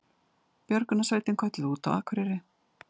Björgunarsveitin kölluð út á Akureyri